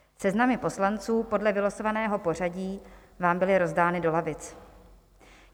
Seznamy poslanců podle vylosovaného pořadí vám byly rozdány do lavic.